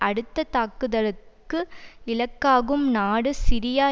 அடுத்த தாக்குதலுக்கு இலக்காகும் நாடு சிரியா